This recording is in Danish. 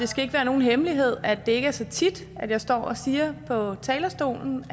skal ikke være nogen hemmelighed at det ikke er så tit at jeg står på talerstolen og